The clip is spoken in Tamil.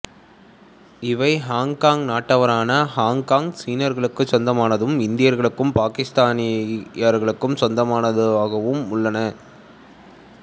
இவை ஹொங்கொங் நாட்டவரான ஹொங்கொங் சீனர்களுக்குச் சொந்தமானதும் இந்தியர்களுக்கும் பாக்கிஸ்தானியர்களுக்கும் சொந்தமானதுமாக உள்ளன